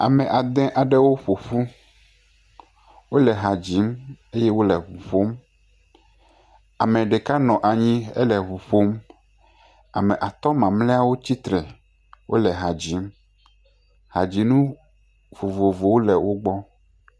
Ame ade aɖewo ƒo ƒu, wole ha dzim eye wole ŋu ƒom, ame nɔ anyi ele ŋu ƒom ame atɔ̃ mamlɛwo tsi tre, wole ha dzim, hadzinu vovovowo le wo gbɔ.